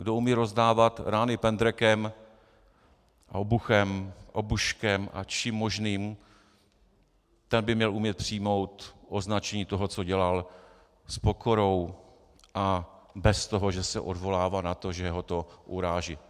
Kdo umí rozdávat rány pendrekem, obuchem, obuškem a čím možným, ten by měl umět přijmout označení toho, co dělal, s pokorou a bez toho, že se odvolává na to, že ho to uráží.